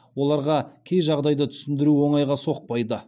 оларға кей жағдайды түсіндіру оңайға соқпайды